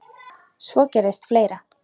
Svo gerðist fleira.